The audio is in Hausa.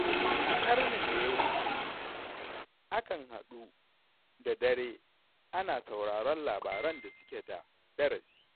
A ƙarnin da ya wuce, akan haɗu da dare ana sauraron labaran da suke da darasi.